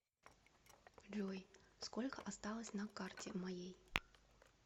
джой сколько осталось на карте моей